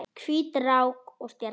Hvít rák og stjarna